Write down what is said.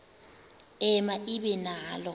ema ibe nalo